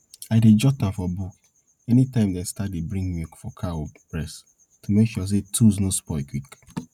i dey jot am for book anytime dem start dey bring milk for cow breast to make sure say tools nor spoil quick